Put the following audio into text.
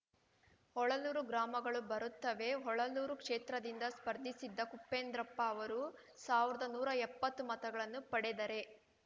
ಹೊಳಲೂರು ಗ್ರಾಮಗಳು ಬರುತ್ತವೆ ಹೊಳಲೂರು ಕ್ಷೇತ್ರದಿಂದ ಸ್ಪರ್ಧಿಸಿದ್ದ ಕುಪೇಂದ್ರಪ್ಪ ಅವರು ಸಾವರ್ದಾ ನೂರಾ ಎಪ್ಪತ್ತು ಮತಗಳನ್ನು ಪಡೆದರೆ